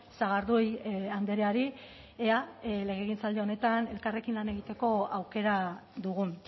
sagardui andreari ea legegintzaldi honetan elkarrekin lan egiteko aukera dugun